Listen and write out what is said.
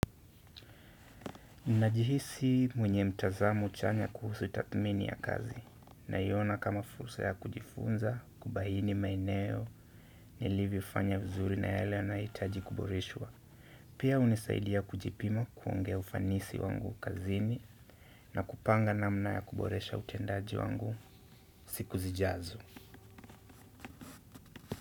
Najihisi mwenye mtazamo chanya kuhusu tathmini ya kazi naiona kama fursa ya kujifunza, kubahini maeneo, nilivyofanya vizuri na yale yanahitaji kuboreshwa. Pia hunisaidia kujipima kuongea ufanisi wangu kazini na kupanga namna ya kuboresha utendaji wangu siku zijazo.